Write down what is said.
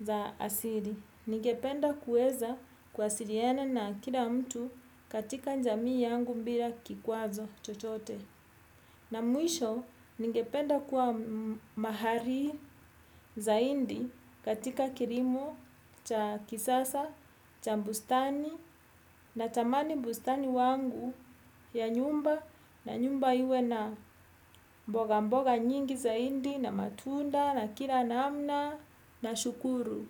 za asili. Ningependa kuweza kuwasiliana na kila mtu katika jamii yangu bila kikwazo chochote. Na mwisho, ningependa kuwa mahali zaidi katika kilimo cha kisasa, cha bustani natamani bustani wangu ya nyumba na nyumba iwe na mboga mboga nyingi zaidi na matunda la kila namna, nashukuru.